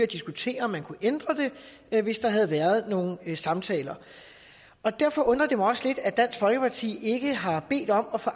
diskutere om man kunne ændre det hvis der havde været nogle samtaler og derfor undrer det mig også lidt at dansk folkeparti ikke har bedt om at få